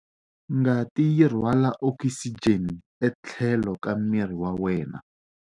Ngati yi rhwala okisijeni etlhelo ka miri wa wena.